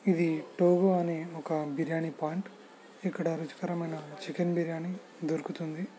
ఇది టోగో అనే ఒక బిర్యాని పాయింట్ ఇక్కడ రుచికరమైన చికెన్ బిర్యాని దొరుకుతుంది.